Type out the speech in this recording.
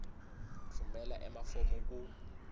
tfumela emafomu ku